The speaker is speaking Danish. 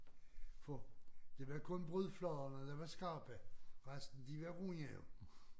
For det var kun brudfladerne der var skarpe resten de var runde jo